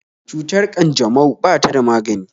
Cutar ƙanjamau ba ta da magani